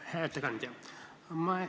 Hea ettekandja!